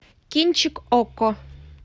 кинчик окко